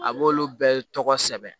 A b'olu bɛɛ tɔgɔ sɛbɛn